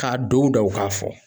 K'a don u da u k'a fɔ.